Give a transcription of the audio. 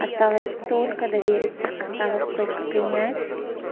осталось только довериться осталось только принять